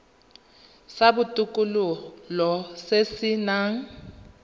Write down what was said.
sa botokololo se se nang